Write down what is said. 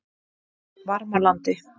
Varmalandi